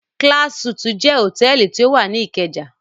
Class Suites jẹ́ hòtẹ́ẹ́lì tí ó wà ní Ìkẹjà.